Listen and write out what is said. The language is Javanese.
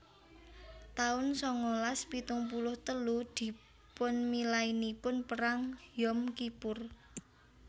taun sangalas pitung puluh telu Dipunmilainipun Perang Yom Kippur